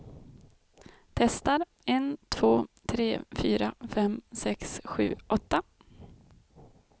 Testar en två tre fyra fem sex sju åtta.